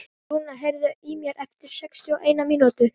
Rúnar, heyrðu í mér eftir sextíu og eina mínútur.